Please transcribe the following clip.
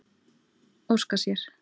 Óska sér.